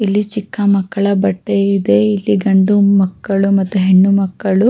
ಇಲ್ಲಿ ಚಿಕ್ಕ ಮಕ್ಕಳ ಬಟ್ಟೆ ಇದೆ ಇಲ್ಲಿ ಗಂಡು ಮಕ್ಕಳು ಮತ್ತು ಹೆಣ್ಣು ಮಕ್ಕಳು --